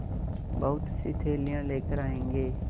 बहुतसी थैलियाँ लेकर आएँगे